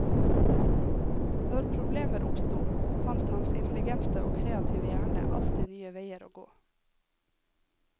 Når problemer oppsto, fant hans intelligente og kreative hjerne alltid nye veier å gå.